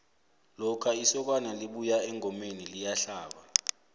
lokha isokana libuya engomeni liyahlaba